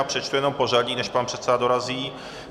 A přečtu jenom pořadí, než pan předseda dorazí.